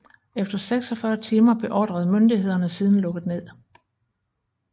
Efter 46 timer beordrede myndighederne siden lukket ned